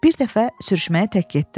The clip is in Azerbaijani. Bir dəfə sürüşməyə tək getdim.